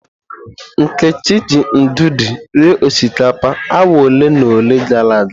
Nkechi ji ndụdụ rie osikapa awa ole na ole gara aga.